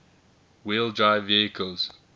wheel drive vehicles